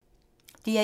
DR1